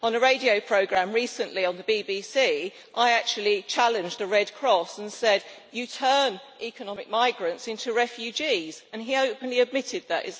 On a radio programme recently on the BBC, I actually challenged the Red Cross and said you turn economic migrants into refugees, and he openly admitted that.